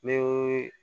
Ni